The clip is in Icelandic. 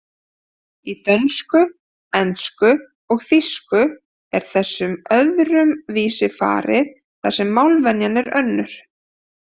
Í dönsku, ensku og þýsku er þessu öðru vísi farið þar sem málvenjan er önnur.